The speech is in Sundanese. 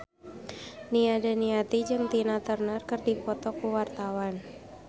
Nia Daniati jeung Tina Turner keur dipoto ku wartawan